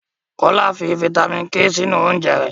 Kolaw fi fítámìnì K sínú oúnjẹ rẹ̀